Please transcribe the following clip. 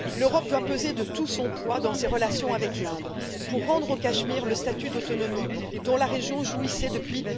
L'Europe doit peser de tout son poids dans ses relations avec l'Inde pour rendre au Cachemire le statut d'autonomie dont la région jouissait depuis